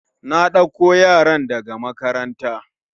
Na ɗako yaran da ga makaranta.